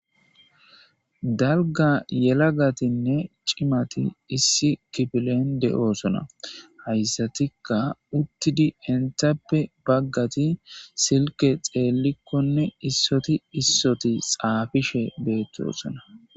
Dalga yelagatinne cimat issi kifilen dosona. Haysatika utid entappe bagati silke xelikonne issot issot xafishe dosona.